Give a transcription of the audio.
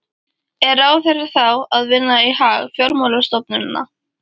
Er ráðherra þá að vinna í hag fjármálastofnana?